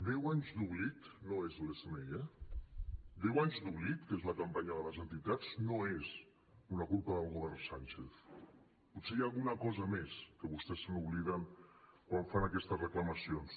deu anys d’oblit no és l’smi eh deu anys d’oblit que és la campanya de les entitats no és una culpa del govern sánchez potser hi ha alguna cosa més que vostès se n’obliden quan fan aquestes reclamacions